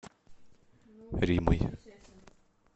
римой